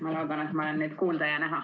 Ma loodan, et olen nüüd kuulda ja näha.